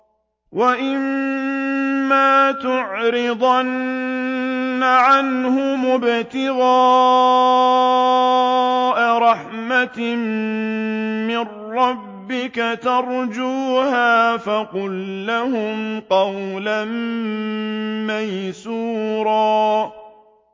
وَإِمَّا تُعْرِضَنَّ عَنْهُمُ ابْتِغَاءَ رَحْمَةٍ مِّن رَّبِّكَ تَرْجُوهَا فَقُل لَّهُمْ قَوْلًا مَّيْسُورًا